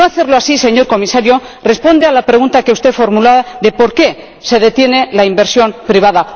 No hacerlo así, señor Comisario, responde a la pregunta que usted formulaba de por qué se detiene la inversión privada.